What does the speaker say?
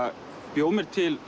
bjó mér til